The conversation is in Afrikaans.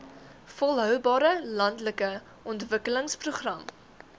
volhoubare landelike ontwikkelingsprogram